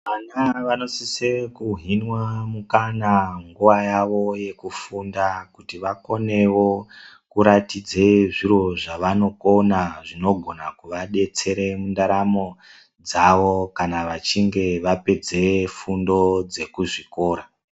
Ana vanosise kuhinwa mukana munguva yavo yekufunda kuti vakonewo kuratidze zviro zvavanokona zvinogona kuadetsere mundaramo dzavo kana vachinge vapedze fundo dzekuzvikora.